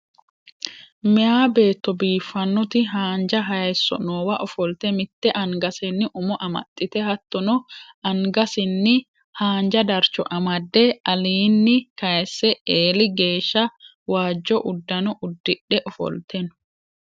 Meya beetto biiffannoti haanja hayisso noowa ofolte mitte angasenni umo amaxxite hattono angasinni haanja darcho amadde alinni kayisse eeli geeshsha waajjo uddano uddidhe ofolte no